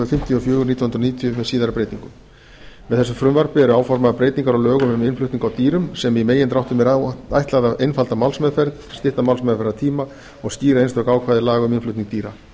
fimmtíu og fjögur nítján hundruð níutíu með síðari breytingum með þessu frumvarpi eru áformaðar breytingar á lögum um innflutning á dýrum sem í megindráttum er ætlað að einfalda málsmeðferð stytta málsmeðferðartíma og skýra einstök ákvæði laga um innflutning dýra